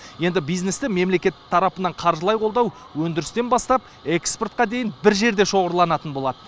енді бизнесті мемлекет тарапынан қаржылай қолдау өндірістен бастап экспортқа дейін бір жерде шоғырланатын болады